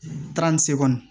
Taara ni segu